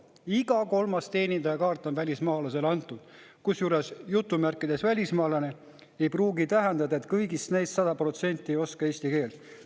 Iga kolmas teenindajakaart on välismaalasele antud, kusjuures "välismaalane" ei pruugi tähendada, et kõigist neist sada protsenti ei oska eesti keelt.